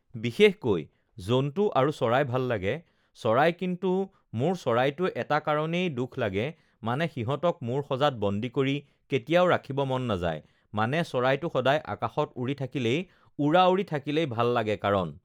বিশেষকৈ জন্তু আৰু চৰাই ভাল লাগে, চৰাই কিন্তু মোৰ চৰাইতো এটা কাৰণেই দুখ লাগে মানে সিহঁতক মোৰ সঁজাত বন্দী কৰি কেতিয়াও ৰাখিব মন নাযায় মানে চৰাইটো সদায় আকাশত উৰি থাকিলেই উৰা উৰি থাকিলেই ভাল লাগে কাৰণ